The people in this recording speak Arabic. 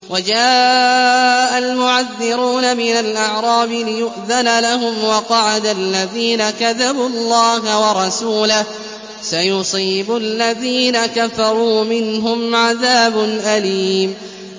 وَجَاءَ الْمُعَذِّرُونَ مِنَ الْأَعْرَابِ لِيُؤْذَنَ لَهُمْ وَقَعَدَ الَّذِينَ كَذَبُوا اللَّهَ وَرَسُولَهُ ۚ سَيُصِيبُ الَّذِينَ كَفَرُوا مِنْهُمْ عَذَابٌ أَلِيمٌ